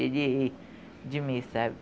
Ele ri de mim, sabe?